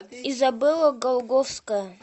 изабелла голгофская